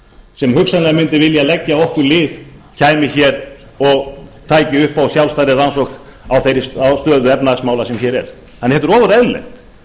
sem hugsanlega mundi vilja leggja okkur lið kæmi hér og tæki upp á sjálfstæðri rannsókn á þeirri stöðu efnahagsmála sem hér er þannig að þetta er ofur eðlilegt